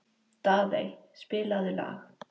Daðey, spilaðu lag.